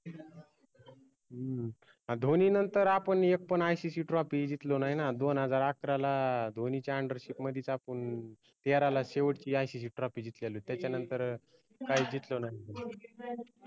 हम्म धोनी नंतर आपन एक पन ICCtrophy जितलो नाई ना दोन हजार अकराला धोनीच्या undership मदीच आपुन तेराला शेवटची ICCtrophy जीतलेली होती त्याच्या नंतर काहीच जितलो नाय